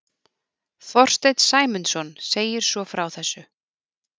Þorsteinn Sæmundsson segir svo frá þessu: